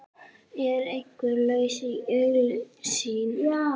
Er einhver lausn í augsýn?